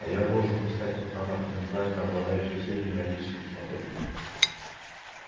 а я должен искать пацана потенциально обладающего сильными магическими способностями